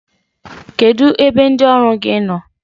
Kedụ ebe ndị ọrụ gị nọ?